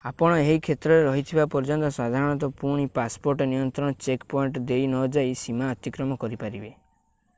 ଆପଣ ଏହି କ୍ଷେତ୍ରରେ ରହିଥିବା ପର୍ଯ୍ୟନ୍ତ ସାଧାରଣତଃ ପୁଣି ପାସପୋର୍ଟ ନିୟନ୍ତ୍ରଣ ଚେକ୍ ପଏଣ୍ଟ ଦେଇ ନ ଯାଇ ସୀମା ଅତିକ୍ରମ କରିପାରିବେ